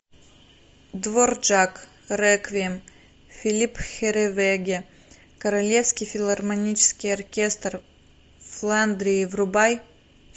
дворжак реквием филипп херревеге королевский филармонический оркестр фландрии врубай